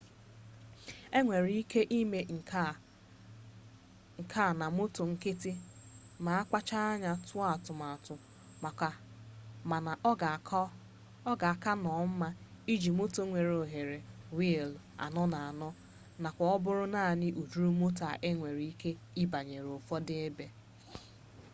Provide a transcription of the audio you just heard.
enwere ike ime nke a na moto nkịtị ma a kpachara anya tụọ atụmatụ mana ọ ga-aka nnọọ mma iji moto nwere ohere wiili 4x4 nakwa ọ bụ naanị ụdịrị moto a nwere ike ịbanye ụfọdụ ebe